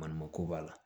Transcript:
Maɲuman ko b'a la